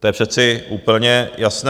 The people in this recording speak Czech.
To je přece úplně jasné.